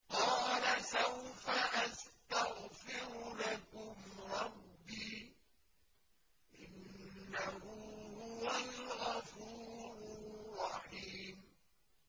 قَالَ سَوْفَ أَسْتَغْفِرُ لَكُمْ رَبِّي ۖ إِنَّهُ هُوَ الْغَفُورُ الرَّحِيمُ